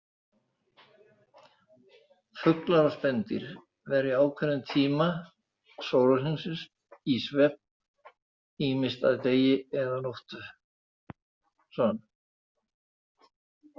Fuglar og spendýr verja ákveðnum tíma sólarhringsins í svefn, ýmist að degi eða nóttu.